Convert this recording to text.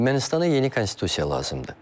Ermənistana yeni konstitusiya lazımdır.